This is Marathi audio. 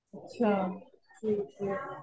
अच्छा. ठीक आहे.